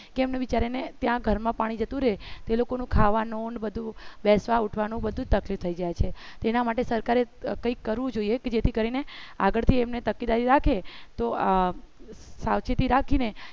કેમ વિચારેને ત્યાં ઘરમાં પાણી જતું રહે તે લોકોનું ખાવાનું બધું બેસવા ઉઠવાનું બધું જ તકલીફ થઈ જાય છે તેના માટે સરકારે કંઈક કરવું જોઈએ કે જેથી કરીને આગળથી એમને તકેદારી રાખે તો સાવચેતી રાખી ને